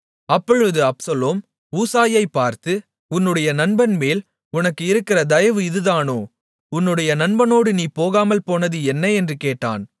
அப்பொழுது அப்சலோம் ஊசாயைப் பார்த்து உன்னுடைய நண்பன்மேல் உனக்கு இருக்கிற தயவு இதுதானோ உன்னுடைய நண்பனோடு நீ போகாமல்போனது என்ன என்று கேட்டான்